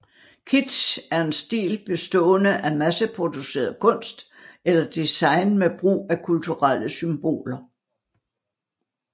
Kitsch er en stil bestående af masseproduceret kunst eller design med brug af kulturelle symboler